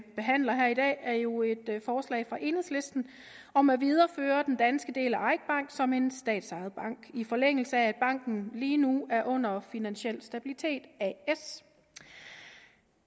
behandler her i dag er jo et forslag fra enhedslisten om at videreføre den danske del af eik bank som en statsejet bank i forlængelse af at banken lige nu er under finansiel stabilitet as